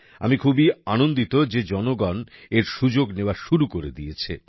আমি খুবই আনন্দিত যে জনগণ এর সুযোগ নেওয়া শুরু করে দিয়েছে